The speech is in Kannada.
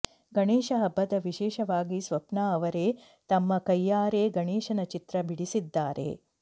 ಗಣೇಶ ಹಬ್ಬದ ವಿಶೇಷವಾಗಿ ಸ್ವಪ್ನ ಅವರೇ ತಮ್ಮ ಕೈಯಾರೆ ಗಣೇಶನ ಚಿತ್ರ ಬಿಡಿಸಿದ್ದಾರೆ